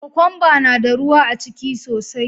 Kokwamba na da ruwa aciki sosai.